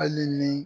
Hali ni